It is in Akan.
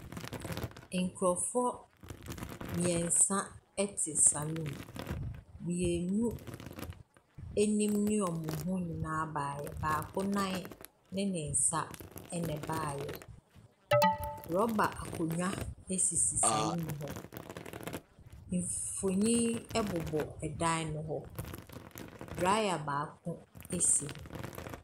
Nkurɔfoɔ mmeɛnsa te saloon. Mmienu anim ne wɔn ho nyinaa baeɛ. Baako nan ne ne nsa na ɛbaeɛ. Rɔba akonnwa sisi saloon hɔ. Mfonin bobɔ dan no ho. Dryer baako si hɔ.